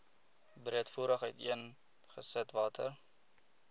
breedvoerig uiteengesit watter